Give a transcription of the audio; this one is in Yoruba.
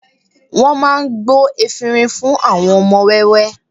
Wọ́n máa gbo efinrin fún àwọn ọmọ wẹ́wẹ́